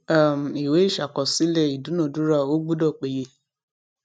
um ìwé ìṣàkọsílẹ ìdúnadúrà ó gbudo péye